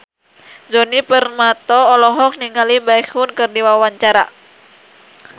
Djoni Permato olohok ningali Baekhyun keur diwawancara